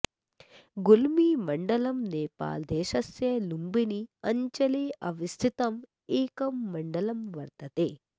गुल्मीमण्डलम् नेपालदेशस्य लुम्बिनी अञ्चले अवस्थितं एकं मण्डलं वर्तते